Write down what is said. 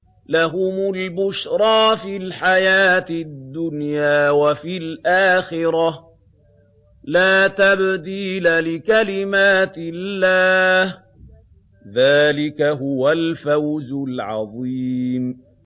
لَهُمُ الْبُشْرَىٰ فِي الْحَيَاةِ الدُّنْيَا وَفِي الْآخِرَةِ ۚ لَا تَبْدِيلَ لِكَلِمَاتِ اللَّهِ ۚ ذَٰلِكَ هُوَ الْفَوْزُ الْعَظِيمُ